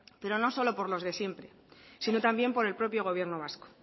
pero no solo por los de siempre sino también por el propio gobierno vasco